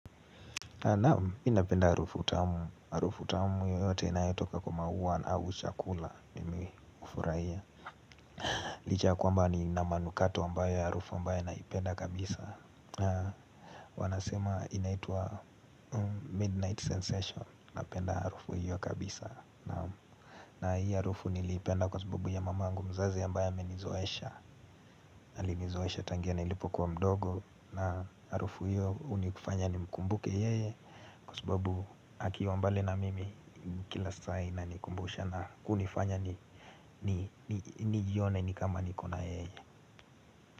Naam, mimi napenda harufu tamu. Harufu tamu yoyote inayotoka kwa maua na au chakula mimi hufurahia. Licha ya kwamba nina manukato ambayo harufu ambayo naipenda kabisa. Wanasema inaitwa Midnight Sensation. Napenda harufu hiyo kabisa. Naam, na hii harufu niliipenda kwa sababu ya mamangu mzazi ambaye amenizoesha. Alinizoesha tangia nilipo kuwa mdogo na harufu hiyo hunifanya nimkumbuke yeye. Kwa sababu akiwa mbali na mimi kila saa inanikumbusha na kunifanya ni nijione ni kama nikona yeye.